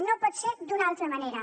no pot ser d’una altra manera